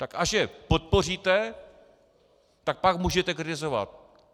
Tak až je podpoříte, tak pak můžete kritizovat.